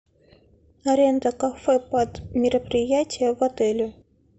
аренда кафе под мероприятие в отеле